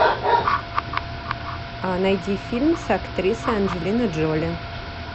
найди фильм с актрисой анджелиной джоли